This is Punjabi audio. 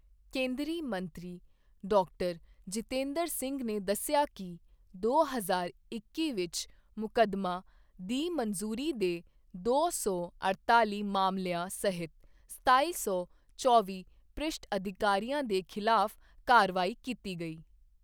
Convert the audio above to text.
ਕੇਂਦਰੀ ਮੰਤਰੀ ਡਾਕਟਰ ਜਿਤੇਂਦਰ ਸਿੰਘ ਨੇ ਦੱਸਿਆ ਕਿ ਦੋ ਹਜ਼ਾਰ ਇੱਕੀ ਵਿੱਚ ਮੁਕੱਦਮਾ ਦੀ ਮੰਜ਼ੂਰੀ ਦੇ ਦੋ ਸੌ ਅੜਤਾਲੀ ਮਾਮਲਿਆਂ ਸਹਿਤ ਸਤਾਈ ਸੌ ਚੌਵੀ ਭ੍ਰਿਸ਼ਟ ਅਧਿਕਾਰੀਆਂ ਦੇ ਖਿਲਾਫ ਕਾਰਵਾਈ ਕੀਤੀ ਗਈ